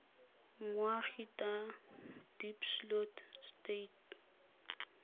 moagi t a diepsloot stud